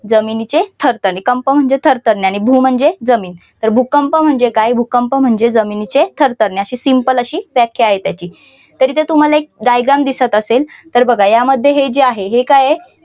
जमिनीचे थरथरणे कंप म्हणजे थरथरणे आणि भू म्हणजे जमिन तर भूकंप म्हणजे काय भूकंप म्हणजे जमिनीचे थरथरणे अशी simple अशी व्याख्या आहे त्याची तरी तुम्हाला तरी ते तुम्हाला एक diagram दिसत असेल तर बघा यामध्ये हे जे आहे हे काय आहे.